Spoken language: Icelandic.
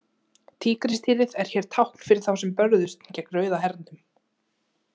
Tígrisdýrið er hér tákn fyrir þá sem börðust gegn Rauða hernum.